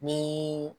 Ni